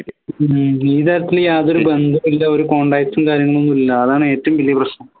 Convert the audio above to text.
ഹും ഈ തരത്തില് യാതൊരു ബന്ധവുമില്ല ഒരു contatcs കാര്യങ്ങളും ഒന്നുല്ല ആണ് ഏറ്റവും വലിയ പ്രശ്നം